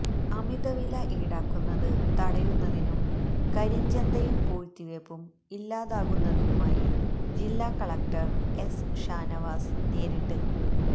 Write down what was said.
അമിതവില ഈടാക്കുന്നത് തടയുന്നതിനും കരിഞ്ചന്തയും പൂഴ്ത്തിവെപ്പും ഇല്ലാതാകുന്നതിനുമായി ജില്ലാ കളക്ടര് എസ് ഷാനവാസ് നേരിട്ട്